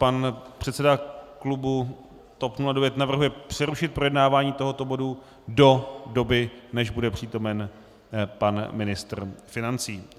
Pan předseda klubu TOP 09 navrhuje přerušit projednávání tohoto bodu do doby, než bude přítomen pan ministr financí.